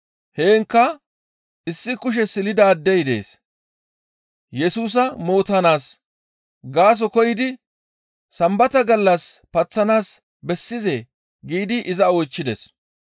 Heenkka issi kushe silidaadey dees. Yesusa mootanaas gaaso koyidi, «Sambata gallas paththanaas bessizee?» giidi iza oychchides.